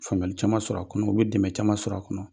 Faamuyali caman sɔrɔ a kɔnɔ, o bɛ dɛmɛ caman sɔrɔ a kɔnɔ.